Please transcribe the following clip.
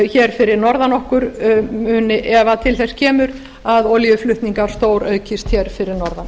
hér fyrir norðan okkar ef til þess kemur að olíuflutningar stóraukist hér fyrir norðan